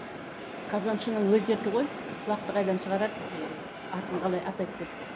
қазаншының өз еркі ғой құлақты қайдан шығарады еее атын қалай атайды деп